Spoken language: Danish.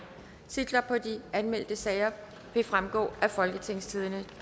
titlerne på de anmeldte sager vil fremgå af folketingstidende